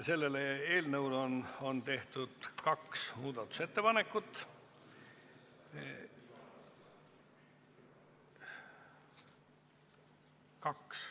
Selle eelnõu kohta on tehtud kaks muudatusettepanekut.